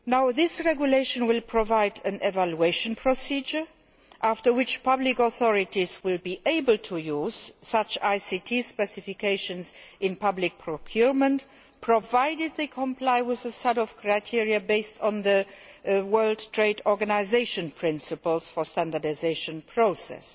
This regulation will provide an evaluation procedure, after which public authorities will be able to use such ICT specifications in public procurement provided they comply with a set of criteria based on the World Trade Organisation principles for the standardisation process.